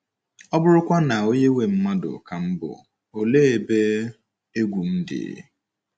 ọ bụrụkwa na onye nwe mmadụ ka m bụ, olee ebe egwu m dị?